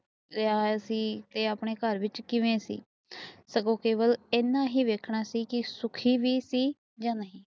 ਰਿਹਾ ਸੀ ਇਹ ਆਪਣੇ ਘਰ ਵਿਚ ਕਿਵੇਂ ਸੀ ਬਸ ਇੰਨਾ ਹੀ ਵੇਖਣਾ ਸੀ ਸੁਖੀ ਵੀ ਸੀ ਜਾ ਨਹੀਂ